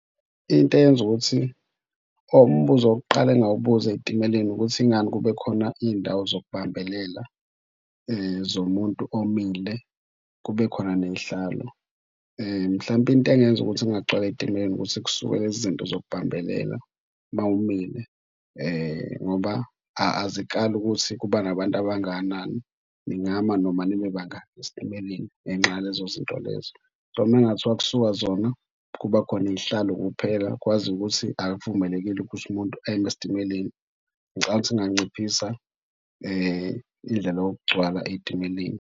Into eyenza ukuthi oh umbuzo wokuqala engingawubuza ey'timeleni ukuthi ingani kube khona iy'ndawo zokubambelela zomuntu omile, kube khona ney'hlalo? Mhlampe into engenza ukuthi kungagcwali ey'timeleni ukuthi kusuke lezi zinto zokubambelela uma umile ngoba azikali ukuthi kuba nabantu abangakanani. Ningama noma nibe bangaki esitimeleni ngenxa yalezo zinto lezo. So, uma kungathiwa kusuka zona, kuba khona iy'hlalo kuphela, kwaziwa ukuthi akuvumelekile ukuthi umuntu eme esitimeleni ngicabanga kunganciphisa indlela yokugcwala ey'timeleni.